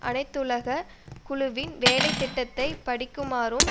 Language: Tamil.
அனைத்துலுகக் குழுவின் வேலை திட்டத்தை படிக்குமாறும்